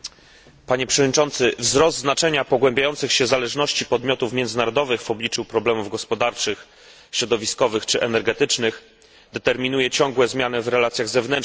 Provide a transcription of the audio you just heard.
Wzrost znaczenia pogłębiających się zależności podmiotów międzynarodowych w obliczu problemów gospodarczych, środowiskowych czy energetycznych determinuje ciągłe zmiany w relacjach zewnętrznych poszczególnych państw.